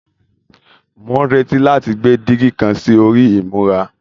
Mò ń retí láti gbé dígí kan sí orí ìmura